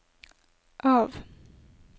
av